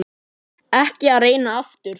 Ekki að reyna aftur.